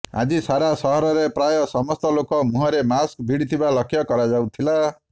ଆଜି ସାରା ସହରରେ ପ୍ରାୟ ସମସ୍ତ ଲୋକ ମୁହଁରେ ମାସ୍କ ଭିଡିଥିବା ଲକ୍ଷ କରାଯାଇଥିଲା